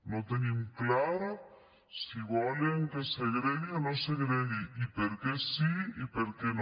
no tenim clar si volen que es segregui o no es segregui i per què sí i per què no